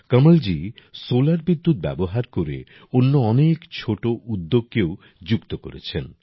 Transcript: Kamalji solar বিদ্যুৎ ব্যবহার করে অন্য অনেক ছোট উদ্যোগকেও যুক্ত করছেন